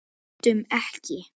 Öndum ekki.